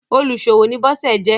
oluṣowo ni Bose jé.